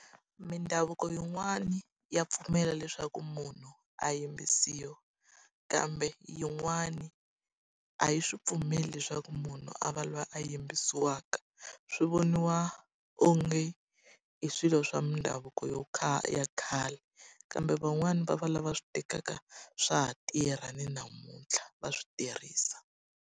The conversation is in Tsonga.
Mindhavuko yin'wani ya pfumela leswaku munhu a yimbisiwa, kambe yin'wani a yi swi pfumeli leswaku munhu a va loyi a yimbisiwaka. Swi voniwa onge i swilo swa mindhavuko yo ya khale. Kambe van'wani va va lava swi tekaka swa ha tirha, ni namuntlha va swi tirhisa.